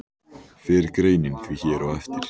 Fer greinin því hér á eftir.